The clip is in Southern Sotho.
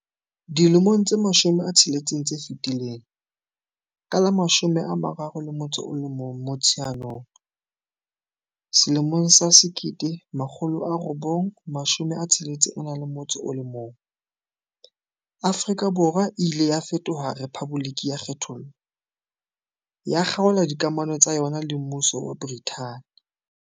Dilemong tse 60 tse fetileng, ka la 31 Motsheanong 1961, Afrika Borwa e ile ya fetoha rephaboliki ya kgethollo, ya kgaola dikamano tsa yona le Mmuso wa Brithani.